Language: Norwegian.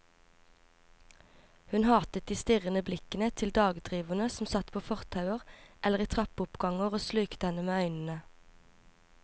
Hun hatet de strirrende blikkende til dagdriverne som satt på fortauer eller i trappeoppganger og slukte henne med øynene.